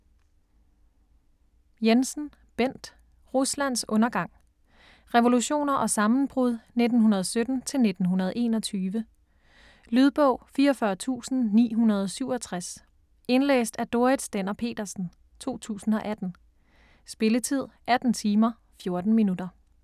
Jensen, Bent: Ruslands undergang Revolutioner og sammenbrud 1917-1921. Lydbog 44967 Indlæst af Dorrit Stender-Petersen, 2018. Spilletid: 18 timer, 14 minutter.